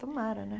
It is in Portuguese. Tomara, né?